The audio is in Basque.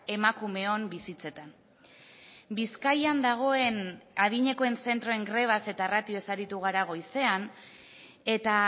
emakumeon bizitzetan bizkaian dagoen adinekoen zentroen grebaz eta ratioz aritu gara goizean eta